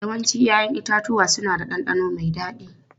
Yawancin 'ya'yan itatuwa suna da ɗanɗano mai dadi.